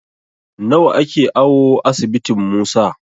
Nawa ake awo asibitin Musa?